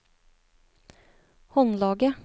håndlaget